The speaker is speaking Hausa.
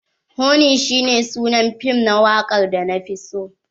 Honey shi ne sunan fim na wakar da na fi so.